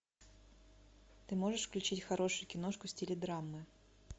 ты можешь включить хорошую киношку в стиле драмы